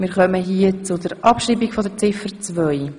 Wir kommen zur Abschreibung von Ziffer 2.